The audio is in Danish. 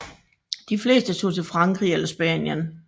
De fleste tog til Frankrig eller Spanien